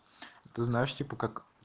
ты знаешь типа как